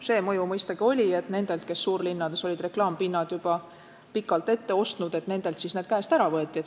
See mõju mõistagi oli, et nendelt, kes suurlinnades olid reklaampinnad juba pikalt ette ostnud, võeti need käest ära.